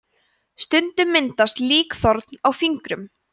stundum myndast líkþorn á fingrum